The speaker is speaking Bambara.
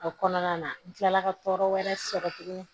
A kɔnɔna na n kilala ka tɔɔrɔ wɛrɛ sɔrɔ tuguni